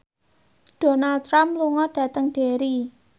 Donald Trump lunga dhateng Derry